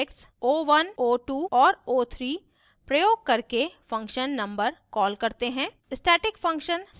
फिर हम objects o1 o2 और o3 प्रयोग करके function number कॉल करते हैं